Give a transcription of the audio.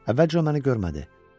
Əvvəlcə o məni görmədi.